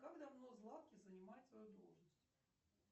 как давно златкис занимает свою должность